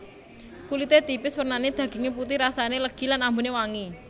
Kulite tipis wernane daginge putih rasane legi lan ambune wangi